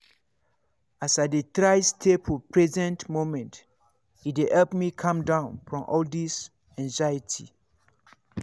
as i dey try stay for present moment e dey help me calm down from all this anxiety.